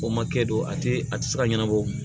O ma kɛ don a tɛ a tɛ se ka ɲɛnabɔ